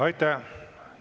Aitäh!